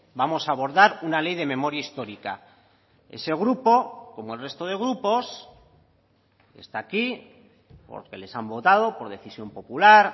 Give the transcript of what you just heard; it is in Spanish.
vamos a abordar una ley de memoria histórica ese grupo como el resto de grupos está aquí porque les han votado por decisión popular